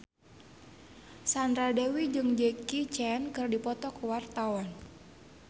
Sandra Dewi jeung Jackie Chan keur dipoto ku wartawan